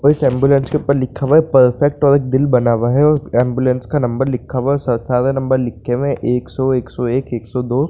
और उस एम्बुलेंस के उपर लिखा हुआ है परफेक्ट और एक दिल बना हुआ है | उस एम्बुलेंस का नंबर लिखा हुआ है सारे नंबर लिखे हुए हैं एकसौ एकसौ एक एकसौ दो--